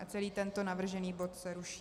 A celý tento navržený bod se ruší.